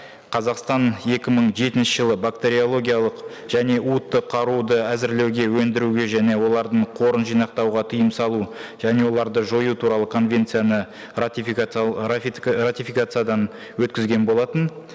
қазақстан екі мың жетінші жылы бактериологиялық және қаруды әзірлеуге өндіруге және олардың қорын жинақтауға тыйым салу және оларды жою туралы конвенцияны ратификациядан өткізген болатын